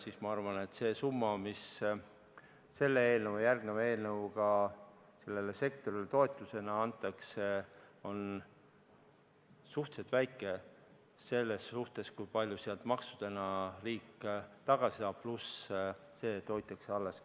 Nii et ma arvan, et see summa, mis selle eelnõu ja järgmise eelnõu kohaselt sellele sektorile toetusena antakse, on suhteliselt väike võrreldes kasuga, kui palju sealt maksudena riik tagasi saab, pluss see, et hoitakse töökohad alles.